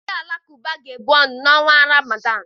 Ndị Alakụba ga-ebu ọnụ n'ọnwa Ramadan.